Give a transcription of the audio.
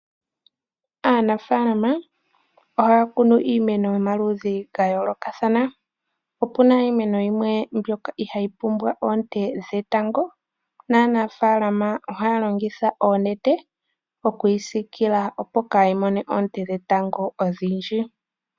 Aanafalama ohaakunu iimeno yomaludhi gayolokathana, opuna iimeno yimwe mbyoka iha yi pumbwa oonte dhetango odhindji, naanafalama ohaalongitha oonete okwiisikila opo kaayimone oonte dhetango odhindji.